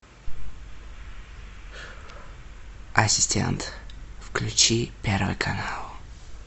ассистент включи первый канал